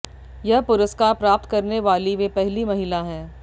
यह पुरस्कार प्राप्त करने वाली वे पहली महिला हैं